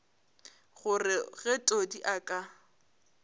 gore ge todi a ka